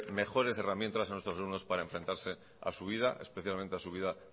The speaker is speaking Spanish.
mejores herramientas a nuestros alumnos para enfrentarse a su vida especialmente a su vida